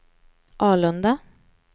Alunda